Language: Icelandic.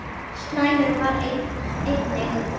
Slæmur var einnig